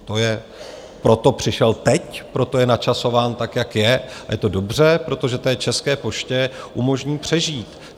Proto přišel teď, proto je načasován tak, jak je, a je to dobře, protože té České poště umožní přežít.